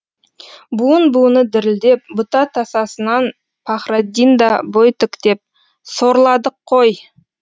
буын буыны дірілдеп бұта тасасынан пахраддин да бой тіктеп сорладық қой деді